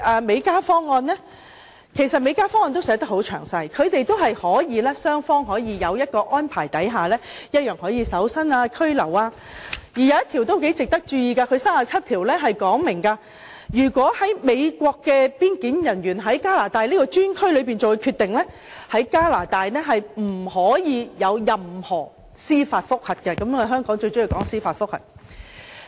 美加方案其實亦寫得很詳細，雙方在安排下同樣可以進行搜身或拘留，當中第37條很值得大家注意，該條訂明美國邊境人員在加拿大專區作出的決定，加拿大是不可以進行任何司法覆核的，香港便最喜歡進行司法覆核。